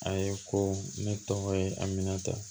A ye ko ne tɔgɔ ye aminata